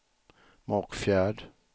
Mockfjärd